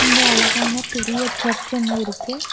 இங்க அழகான பெரிய சர்ச் ஒன்னு இருக்கு.